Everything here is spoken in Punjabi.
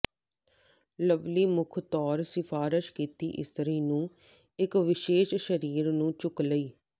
ਲਵਲੀ ਮੁੱਖ ਤੌਰ ਸਿਫਾਰਸ਼ ਕੀਤੀ ਇਸਤਰੀ ਨੂੰ ਇੱਕ ਵਿਸ਼ੇਸ਼ ਸਰੀਰ ਨੂੰ ਚੁੱਕ ਲਈ